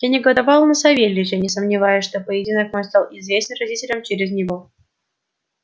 я негодовал на савельича не сомневаясь что поединок мой стал известен родителям через него